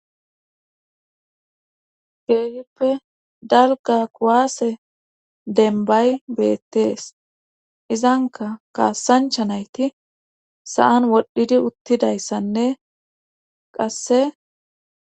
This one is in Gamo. Keehippe dalga kuwaase denbay beettees izanka kaassancha nayti sa7an wodhdhidi uttidayssanne qasse.